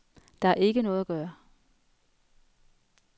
Der er ikke noget at gøre.